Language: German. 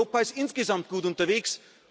Europa ist insgesamt gut unterwegs.